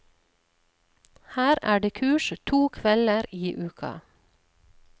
Her er det kurs to kvelder i uka.